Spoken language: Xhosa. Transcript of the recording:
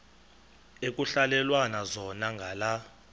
ekuhhalelwana zona ngala